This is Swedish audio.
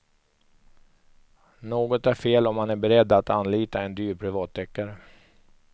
Något är fel om man är beredd att anlita en dyr privatdeckare.